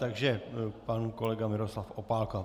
Takže pan kolega Miroslav Opálka.